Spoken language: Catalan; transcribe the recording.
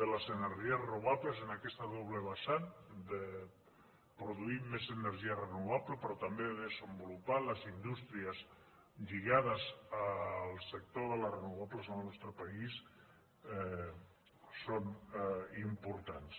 de les energies renovables i en aquest doble vessant de produir més energia renovable però també de desenvolupar les indústries lligades al sector de les renovables al nostre país són importants